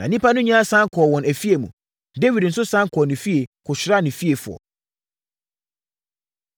Na nnipa no nyinaa sane kɔɔ wɔn afie mu. Dawid nso sane kɔɔ ne fie, kɔhyiraa ne fiefoɔ.